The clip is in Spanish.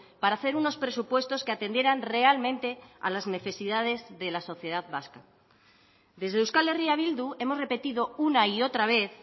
para hacer unos presupuestos que atendieran realmente a las necesidades de la sociedad vasca desde euskal herria bildu hemos repetido una y otra vez